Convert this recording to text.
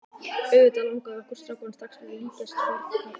Auðvitað langaði okkur strákana strax að líkjast fornköppunum.